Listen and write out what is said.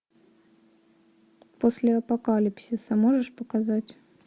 после апокалипсиса можешь показать